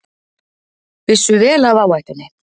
Vissu vel af áhættunni